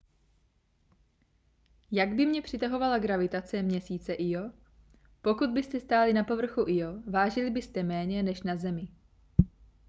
jak by mě přitahovala gravitace měsíce io pokud byste stáli na povrchu io vážili byste méně než na zemi